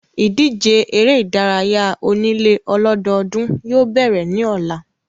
Ìdíje eré ìdárayá onílé ọlọ́dọọ́dún yóò bẹ̀rẹ̀ ní ọ̀la.